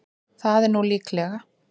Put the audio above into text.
Það er nú líklega.